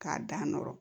K'a dan nɔrɔ